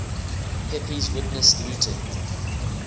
pepys witnessed looting